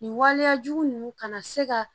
Nin waleyajugu ninnu kana se ka